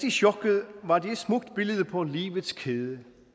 i chokket var det et smukt billede på livets kæde